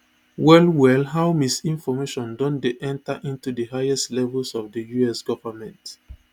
wellwell how misinformation don dey enter into di highest levels of di us government